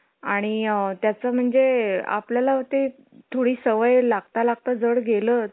आणि अ, त्याचा म्हणजे आपल्याला ते थोडी सवय लागता लागता झड गेलाच